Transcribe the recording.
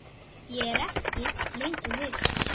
Ég er ekki lengur viss.